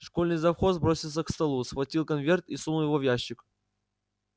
школьный завхоз бросился к столу схватил конверт и сунул его в ящик